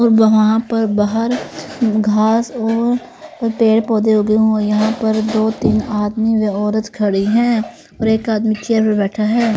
और वहाँ वहां पर बाहर घास और प पेड़ पौधे उगे हुए यहां पर दो तीन आदमी व औरत खड़ी हैं और एक आदमी चेयर पर बैठा है.